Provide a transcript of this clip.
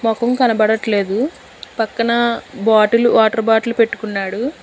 మొఖం కనపడట్లేదు పక్కన బాటిల్ వాటర్ బాటిల్ పెట్టుకున్నాడు.